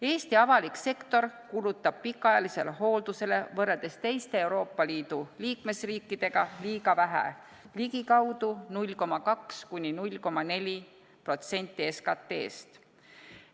Eesti avalik sektor kulutab pikaajalisele hooldusele võrreldes teiste Euroopa Liidu liikmesriikidega liiga vähe, ligikaudu 0,2–0,4% SKT-st.